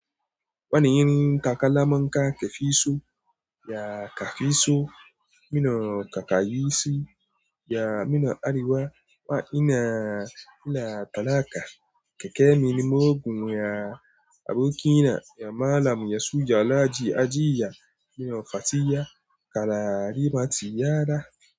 Wani irin kaka laman ka kafiso, ya kafiso, mino kaka yisi, ya mino ariwa, wa ina, ina talaka, keke mini mogun, ya aboki na, ya malam ya suja laji ajiya, mino fatiyya, kala arimati yara.